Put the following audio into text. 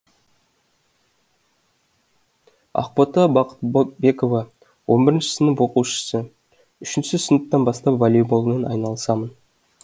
ақбота бақботбекова он бірінші сынып оқушысы үшінші сыныптан бастап волейболмен айналысамын